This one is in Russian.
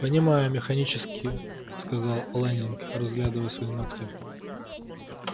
понимаю механически сказал лэннинг разглядывая свои ногти